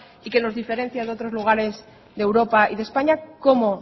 y que nos diferencia de otros lugares de europa y de españa cómo